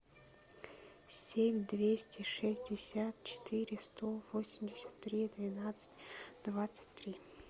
семь двести шестьдесят четыре сто восемьдесят три двенадцать двадцать три